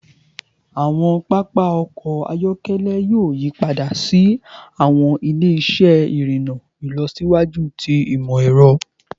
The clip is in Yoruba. Awọn papa ọkọ ayọkẹlẹ yoo yipada si awọn ile-iṣẹ irinna ilọsiwaju ti imọ-ẹrọ